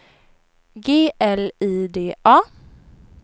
G L I D A